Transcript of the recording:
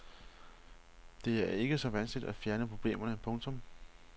Det er ikke så vanskeligt at fjerne problemerne. punktum